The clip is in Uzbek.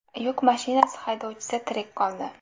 Yuk mashinasi haydovchisi tirik qoldi.